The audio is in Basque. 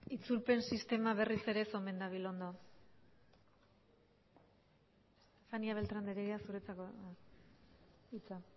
itzulpen sistema berriz ere ez omen dabil ondo beltrán de heredia andrea zurea da hitza